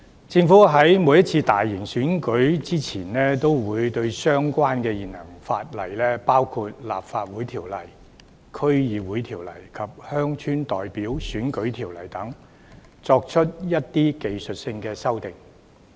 政府在每次大型選舉前，均會對相關的現行法例，包括《立法會條例》、《區議會條例》及《鄉郊代表選舉條例》等，作出一些技術修訂。